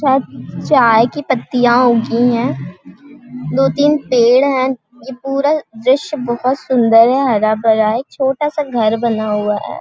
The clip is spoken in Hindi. चाय -चाय की पत्तियाँ उगी है दो तीन पेड़ है यह पूरा द्रश्य बहुत सुन्दर है हरा-भरा है छोटा सा घर बना हुआ हैं ।